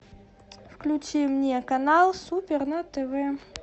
включи мне канал супер на тв